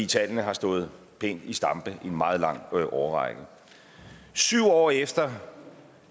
tallene har stået pænt i stampe i en meget lang årrække syv år efter